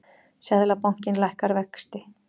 Seðlabankinn lækkar vexti